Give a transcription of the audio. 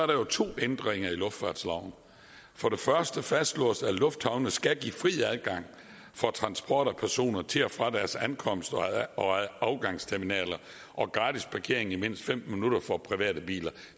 der to ændringer i luftfartsloven for det første fastslås det at lufthavnene skal give fri adgang for transport af personer til og fra deres ankomst og afgangsterminaler og gratis parkering i mindst femten minutter for private biler